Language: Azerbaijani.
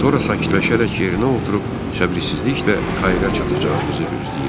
Sonra sakitləşərək yerinə oturub səbirsizliklə Kaira çatacağımızı gözləyirdi.